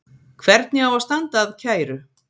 Hvernig á að standa að kæru?